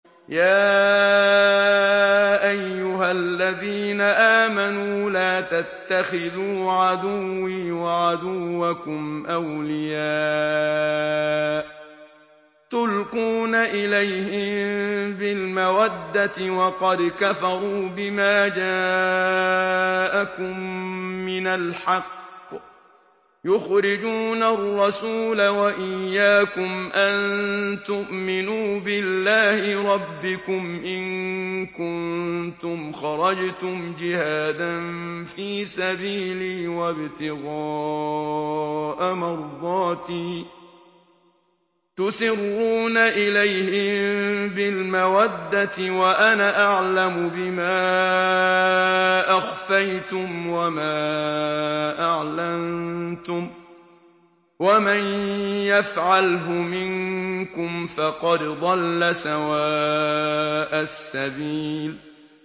يَا أَيُّهَا الَّذِينَ آمَنُوا لَا تَتَّخِذُوا عَدُوِّي وَعَدُوَّكُمْ أَوْلِيَاءَ تُلْقُونَ إِلَيْهِم بِالْمَوَدَّةِ وَقَدْ كَفَرُوا بِمَا جَاءَكُم مِّنَ الْحَقِّ يُخْرِجُونَ الرَّسُولَ وَإِيَّاكُمْ ۙ أَن تُؤْمِنُوا بِاللَّهِ رَبِّكُمْ إِن كُنتُمْ خَرَجْتُمْ جِهَادًا فِي سَبِيلِي وَابْتِغَاءَ مَرْضَاتِي ۚ تُسِرُّونَ إِلَيْهِم بِالْمَوَدَّةِ وَأَنَا أَعْلَمُ بِمَا أَخْفَيْتُمْ وَمَا أَعْلَنتُمْ ۚ وَمَن يَفْعَلْهُ مِنكُمْ فَقَدْ ضَلَّ سَوَاءَ السَّبِيلِ